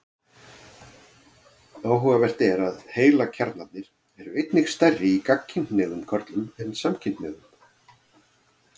Áhugavert er að heilakjarnarnir eru einnig stærri í gagnkynhneigðum körlum en samkynhneigðum.